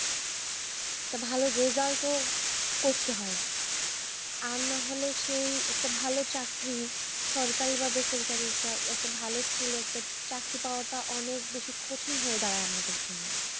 তা ভালো result ও করতে হয়। আর নাহলে সেই একটা ভালো চাকরি সরকারি বা বেসরকারি টা একটা ভালো skill পেতে একটা চাকরি পাওয়া টা অনেক বেশি কঠিন হয়ে দাঁড়ায় আমাদের জন্য।